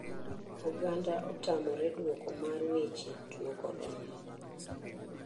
Oganda otamore duoko mar weche tuo korona.